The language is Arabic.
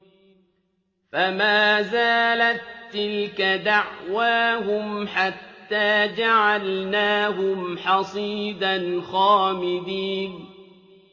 فَمَا زَالَت تِّلْكَ دَعْوَاهُمْ حَتَّىٰ جَعَلْنَاهُمْ حَصِيدًا خَامِدِينَ